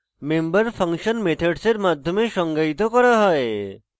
behavior member function methods এর মাধ্যমে সংজ্ঞায়িত করা হয়